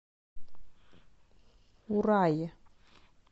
урае